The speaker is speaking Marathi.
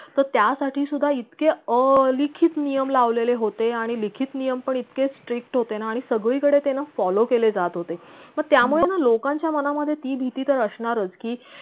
तर त्यासाठी सुद्धा इतके अलिखित नियम लावलेले होते आणि लिखित नियम पण इतके strict होते ना आंणि सगळी कडे ते ना follow केले जात होते पण त्यामुळे ना लोकांच्या मनामधे ती भीती असणारच की